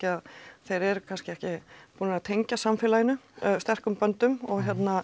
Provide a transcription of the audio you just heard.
að þeir eru kannski ekki búnir að tengjast samfélaginu sterkum böndum og